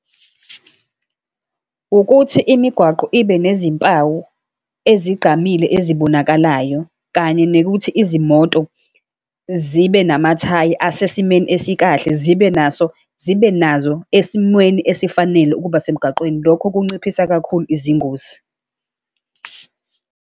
Ukuthi imigwaqo ibe nezimpawu ezigqamile ezibonakalayo, kanye nekuthi izimoto zibe namathayi asesimeni esikahle, zibe naso, zibe nazo esimweni esifanele ukuba semgaqweni. Lokho kunciphisa kakhulu izingozi.